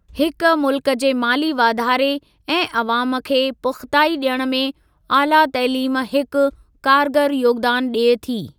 हिक मुल्क जे माली वाधारे ऐं अवाम खे पुख़्ताई ॾियण में आला तइलीम हिकु कारगर योगदान ॾिए थी ।